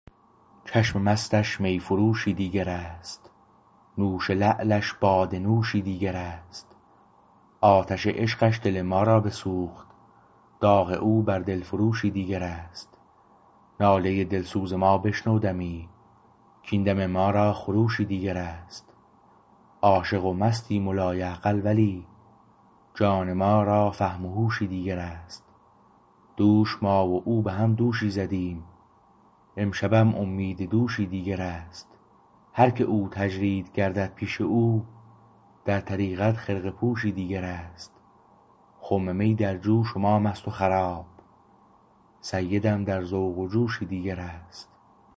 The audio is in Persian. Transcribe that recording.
چشم مستش میفروشی دیگر است نوش لعلش باده نوشی دیگر است آتش عشقش دل ما را بسوخت داغ او بر دل فروشی دیگر است ناله دلسوز ما بشنو دمی کاین دم ما را خروشی دیگر است عاشق و مستیم و لایعقل ولی جان ما را فهم و هوشی دیگر است دوش ما و او به هم دوشی زدیم امشبم امید دوشی دیگر است هرکه او تجرید گردد پیش او در طریقت خرقه پوشی دیگر است خم می در جوش و ما مست وخراب سیدم در ذوق و جوشی دیگر است